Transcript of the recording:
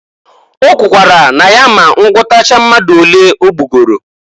O kwuru na ya a ma ngụtacha mmadụ olee ogbugoro.